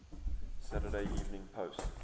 saturday evening post